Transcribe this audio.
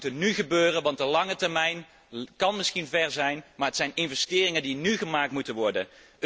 De acties moeten nú gebeuren, want de lange termijn lijkt misschien ver weg, maar het gaat om investeringen die nú gedaan moeten worden.